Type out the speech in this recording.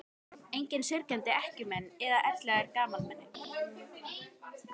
Engir syrgjandi ekkjumenn eða elliær gamalmenni.